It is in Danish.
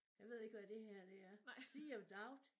Jeg ved ikke hvad det her det er. Sea of Doubt